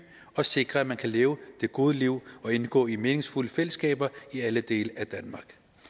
og sikrer at man kan leve det gode liv og indgå i meningsfulde fællesskaber i alle dele af danmark